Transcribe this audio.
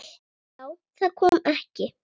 Já, kom það ekki!